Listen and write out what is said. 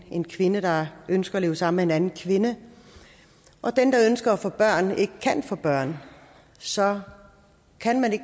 en kvinde der ønsker at leve sammen anden kvinde og den der ønsker at få børn ikke kan få børn så kan man